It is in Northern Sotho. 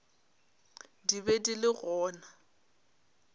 di be di le gona